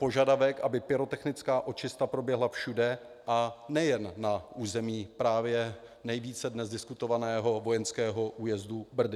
Požadavek, aby pyrotechnická očista proběhla všude a nejen na území právě nejvíce dnes diskutovaného vojenského újezdu Brdy.